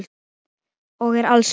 Og er alsæll.